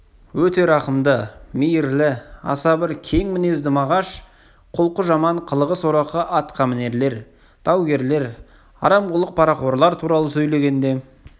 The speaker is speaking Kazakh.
өте рақымды мейірлі аса бір кең мінезді мағаш құлқы жаман қылығы сорақы атқамінерлер даугерлер арамқұлық парақорлар туралы сөйлегенде